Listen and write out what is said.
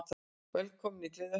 Velkomin í Gleðihöllina!